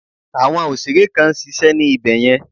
Àwọn òsèré kan nsisé ní ibẹ̀ yẹn